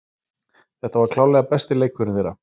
Þetta var klárlega besti leikurinn þeirra.